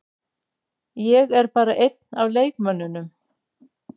Ég er bara einn af leikmönnunum.